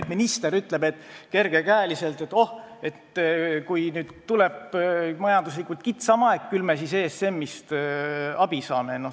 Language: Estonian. Ja minister ütleb nüüd kergekäeliselt, et kui tuleb majanduslikult kitsam aeg, küll me siis ESM-ist abi saame.